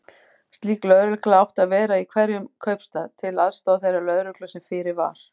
Slík lögregla átti að vera í hverjum kaupstað, til aðstoðar þeirri lögreglu sem fyrir var.